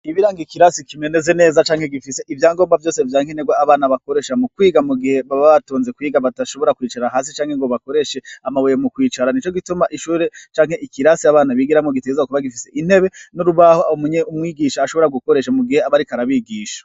Ibbiranga ikirasi ikimeneze neza canke gifise ivyangomba vyose vyankenterwa abana bakoresha mu kwiga mu gihe baba batonze kwiga batashobora kwicara hasi canke ngo bakoreshe amabuye mu kwicara ni co gituma ishure canke ikirasi abana bigira mu giteza kuba gifise intebe n'urubaho munye umwigisha ashobora gukoresha mu gihe abariko arabigisha.